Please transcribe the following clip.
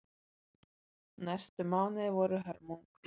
Næstu mánuðir voru hörmung.